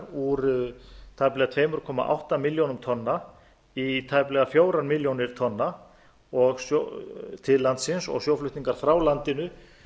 úr tæplega tvö komma átta milljónir tonna í tæplega fjórar milljónir tonna til landsins og sjóflutningar frá landinu